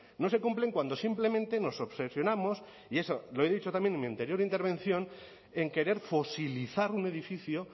no se cumplen cuando simplemente nos obsesionamos y eso lo he dicho también en mi anterior intervención en querer fosilizar un edificio